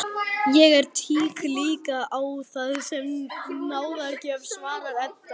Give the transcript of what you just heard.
Ég lít líka á það sem náðargjöf, svarar Edda.